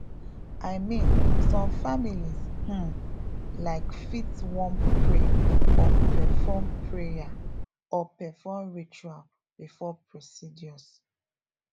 i mean some families um laik fit wan pray or perform pray or perform rituals before procedures